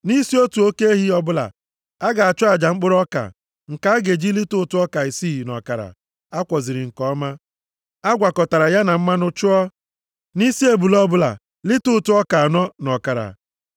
Nʼisi otu oke ehi ọbụla, a ga-achụ aja mkpụrụ ọka nke a ga-eji lita ụtụ ọka isii na ọkara a kwọziri nke ọma, a gwakọtara ya na mmanụ chụọ. Nʼisi ebule ọbụla, lita ụtụ ọka anọ na ọkara.